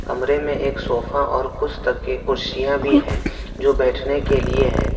कमरे में एक सोफा और कुछ तकिए कुर्सियां भी हैं जो बैठने के लिए हैं।